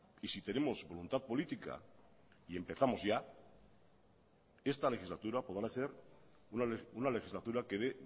y si tenemos voluntad política y empezamos ya esta legislatura podrá ser una legislatura que dé